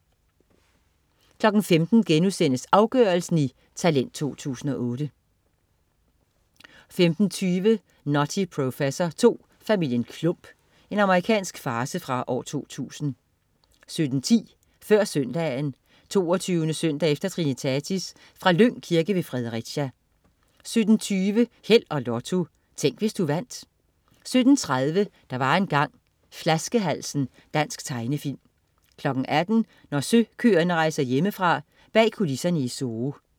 15.00 Talent 2008. Afgørelsen* 15.20 Nutty Professor II: Familien Klump. Amerikansk farce fra 2000 17.10 Før Søndagen. 22. søndag efter trinitatis. Fra Lyng Kirke ved Fredericia 17.20 Held og Lotto. Tænk, hvis du vandt 17.30 Der var engang. Flaskehalsen. Dansk tegnefilm 18.00 Når søkøerne rejser hjemmefra. Bag kulisserne i zoo